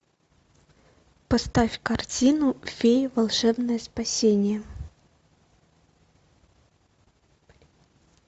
поставь картину феи волшебное спасение